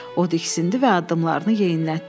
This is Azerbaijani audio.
O diksindi və addımlarını yeyinlətdi.